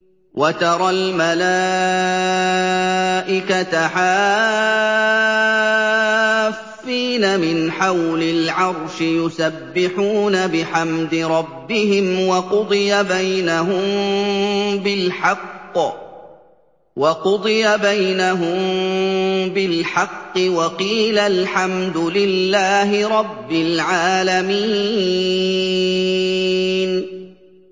وَتَرَى الْمَلَائِكَةَ حَافِّينَ مِنْ حَوْلِ الْعَرْشِ يُسَبِّحُونَ بِحَمْدِ رَبِّهِمْ ۖ وَقُضِيَ بَيْنَهُم بِالْحَقِّ وَقِيلَ الْحَمْدُ لِلَّهِ رَبِّ الْعَالَمِينَ